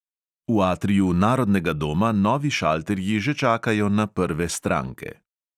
V atriju narodnega doma novi šalterji že čakajo na prve stranke.